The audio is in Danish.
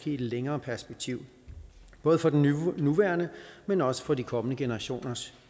i et længere perspektiv både for den nuværende men også for de kommende generationers